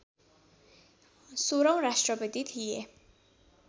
सोह्रौँ राष्ट्रपति थिए